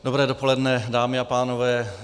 Dobré dopoledne, dámy a pánové.